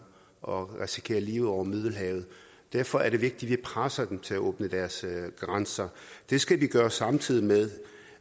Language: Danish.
og risikere livet over middelhavet derfor er det vigtigt at vi presser dem til at åbne deres grænser det skal vi gøre samtidig med